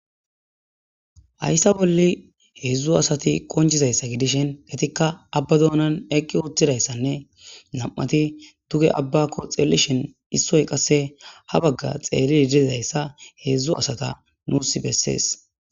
Hayssa bolle heedzdzu asati qonjizayssa gidishin getikka abba doonan eqqi uttidayssanne nam'ati duge abba ko xeelishin issoy qasse ha bagga xeelli idizayssa heedzdzu asata nuus bessees.